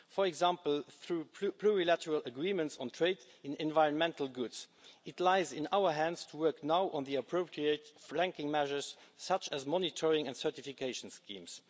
For example, through plurilateral agreements on trade in environmental goods, it now lies in our hands to work on the appropriate flanking measures, such as monitoring and certification schemes.